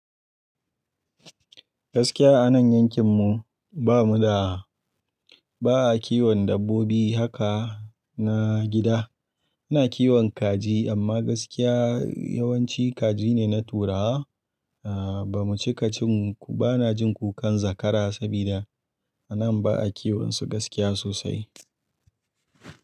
Gaskiya a nan yankin mu ba mu da, ba'a kiwon dabbobi haka na gida. Ina kiwon kaji amma gaskiya yawanci kaji ne na turawa. Aaa, ba mu cika cin, ba na jin kukan zakara sabida a nan ba'a kiwon su gaskiya sosai.